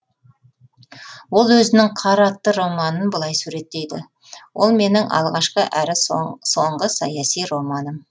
ол өзінің қар атты романын былай суреттейді ол менің алғашқы әрі соңғы саяси романым